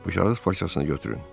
Bu şahıs parçasını götürün.